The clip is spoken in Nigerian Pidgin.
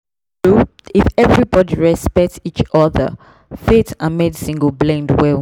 true true if everybody respect each other faith and medicine go blend well.